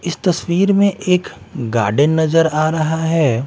इस तस्वीर में एक गार्डन नजर आ रहा है।